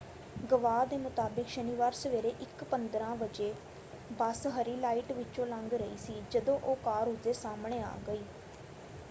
ਗਵਾਹ ਦੇ ਮੁਤਾਬਕ ਸ਼ਨੀਵਾਰ ਸਵੇਰੇ 1:15 ਵਜੇ ਬੱਸ ਹਰੀ ਲਾਈਟ ਵਿਚੋਂ ਲੰਘ ਰਹੀ ਸੀ ਜਦੋਂ ਉਹ ਕਾਰ ਉਸਦੇ ਸਾਹਮਣੇ ਆ ਗਈ।